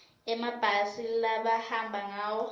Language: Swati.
emabhasi labahamba ngawo